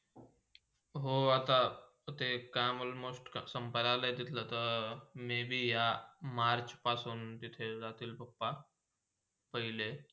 हो, आता ते काम almost संपायाला आला तिथला त Maybe यहा March पासून तिथे जातील papa पहिले.